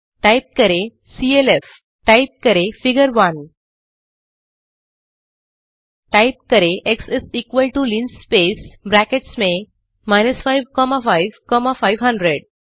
type करें CLF type करें figure 1 type करें एक्स इस इक्वल टो लिनस्पेस ब्रैकेट्स में 5 कॉमा 5 कॉमा 500